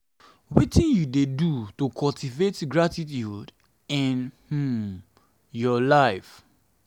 wetin you dey do to cultivate gratituude in um your life?